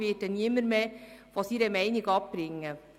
Ich werde niemanden mehr von seiner Meinung abbringen.